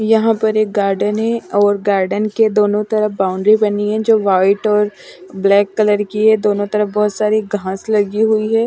यहाँ पर एक गार्डन है और गार्डन के दोनों तरफ बाउंड्री बनी है जो व्हाईट और ब्लैक कलर की है दोनों तरफ बहुत सारी घास लगी हुई है।